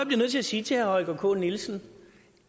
bliver nødt til sige til herre holger k nielsen